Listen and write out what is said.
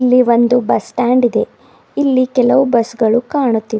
ಇಲ್ಲಿ ಒಂದು bus stand ಇದೆ ಇಲ್ಲಿ ಕೆಲವು ಬಸ್ ಗಳು ಕಾಣುತ್ತಿವೆ.